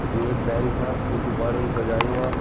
यू एक बैंक छा जू गुब्बारोंन सजायों वा।